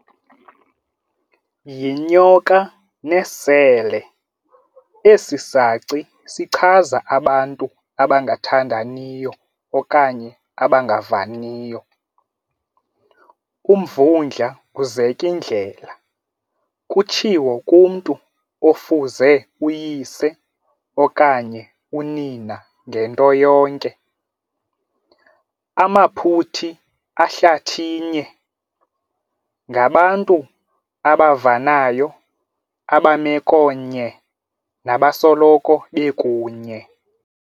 Yinyoka nesele, esi saci sichaza abantu abangathandaniyo okanye abangavaniyo. Umvundla kuzek' indlela, kutshiwo kumntu ofuze uyise okanye unina ngento yonke. Amaphuthi ahlathinye, ngabantu abavanayo abamekonye nabasoloko bekunye.